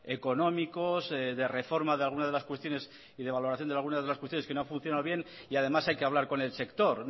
económicos de reforma de algunas de las cuestiones y de valoración de algunas de las cuestiones que no han funcionado bien y además hay que hablar con el sector